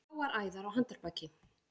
Bláar æðar á handarbaki.